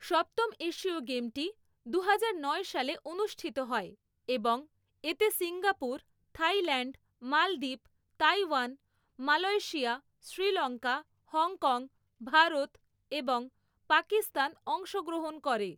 সপ্তম এশীয় গেমটি দুহাজার নয় সালে অনুষ্ঠিত হয় এবং এতে সিঙ্গাপুর, থাইল্যাণ্ড, মলদ্বীপ, Taiwan, Malaysia, Sri Lanka, Hong Kong, Bharat এবং পাকিস্তান অংশগ্রহণ করে।